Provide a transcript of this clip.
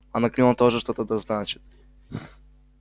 анакреон тоже что-то да значит